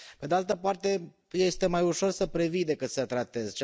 Pe de altă parte, este mai ușor să previi decât să tratezi